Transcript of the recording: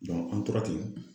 an tora ten